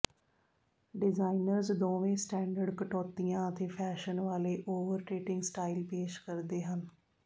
designers ਦੋਵੇਂ standard ਕਟੌਤੀਆਂ ਅਤੇ ਫੈਸ਼ਨ ਵਾਲੇ ਓਵਰਟੇਟਿੰਗ ਸਟਾਈਲ ਪੇਸ਼ ਕਰਦੇ ਹਨ